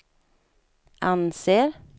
anser